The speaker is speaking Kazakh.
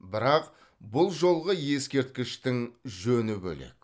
бірақ бұл жолғы ескерткіштің жөні бөлек